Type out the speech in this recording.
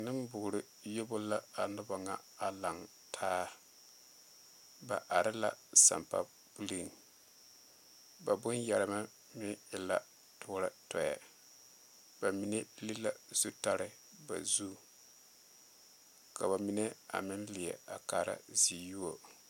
Nenboore yobo la a noba ŋa a laŋ taa ba are la sampa puliŋ ba bonyɛremɛ meŋ e la dɔɛ dɔɛ ba mine piri la zutare ba zu ka ba mine a meŋ leɛ a kaara ziyuo.